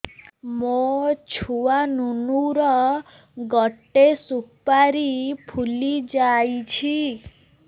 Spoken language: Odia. ମୋ ଛୁଆ ନୁନୁ ର ଗଟେ ସୁପାରୀ ଫୁଲି ଯାଇଛି